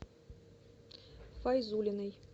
файзуллиной